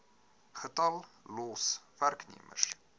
getal los werknemers